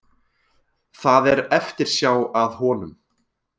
Það er eftirsjá að honum